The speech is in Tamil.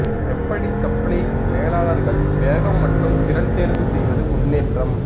எப்படி சப்ளை மேலாளர்கள் வேகம் மற்றும் திறன் தேர்வு செய்வது முன்னேற்றம்